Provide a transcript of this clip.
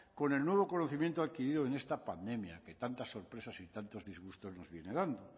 con el nuevo conocimiento adquirido en esta pandemia que tantas sorpresas y tantos disgustos que nos viene dando